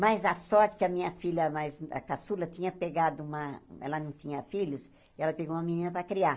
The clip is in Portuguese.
Mas a sorte que a minha filha, a mais a caçula, tinha pegado uma ela não tinha filhos, e ela pegou uma menina para criar.